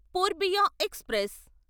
Poorbiya express